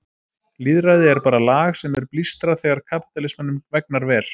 Lýðræði er bara lag sem er blístrað þegar kapítalismanum vegnar vel.